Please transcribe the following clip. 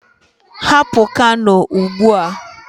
Hapụ Kano ugbu a.